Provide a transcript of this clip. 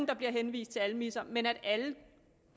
der bliver henvist til almisser men at alle